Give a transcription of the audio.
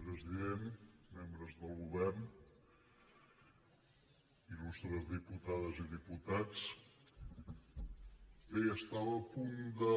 president membres del govern il·lustres diputades i diputats bé estava a punt de